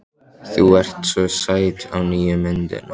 Þú ert svo sæt á nýju myndinni.